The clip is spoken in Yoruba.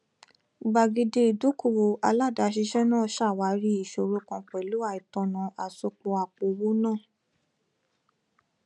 gbàgede ìdókòwò aládàáṣiṣẹ náà ṣàwárí ìṣòro kan pẹlú àìtọnà àsopọ àpòowó náà